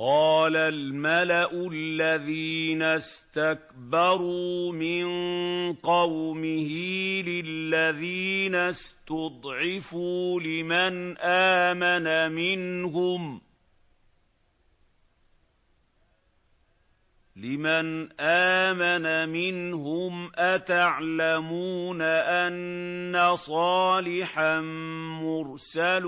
قَالَ الْمَلَأُ الَّذِينَ اسْتَكْبَرُوا مِن قَوْمِهِ لِلَّذِينَ اسْتُضْعِفُوا لِمَنْ آمَنَ مِنْهُمْ أَتَعْلَمُونَ أَنَّ صَالِحًا مُّرْسَلٌ